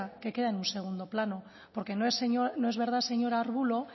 que queda en un segundo plano porque no es verdad señor arbulo